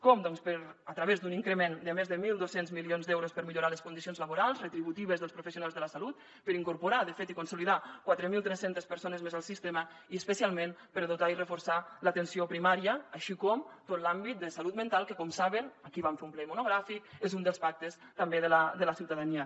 com doncs a través d’un increment de més de mil dos cents milions d’euros per millorar les condicions laborals retributives dels professionals de la salut per incorporar de fet i consolidar quatre mil tres cents persones més al sistema i especialment per dotar i reforçar l’atenció primària així com tot l’àmbit de salut mental que com saben aquí en vam fer un ple monogràfic és un dels pactes també de la ciutadania